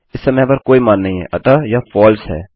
इस समय यहाँ पर कोई मान नहीं हैं अतः यह फलसे है